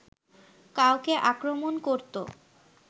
কাউকে আক্রমণ করতো